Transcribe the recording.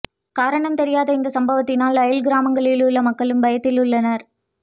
காரணம் தெரியாத இந்த சமவத்தினால் அயல் கிராமங்களில் உள்ள மக்களும் பயத்தில் உள்ளனர்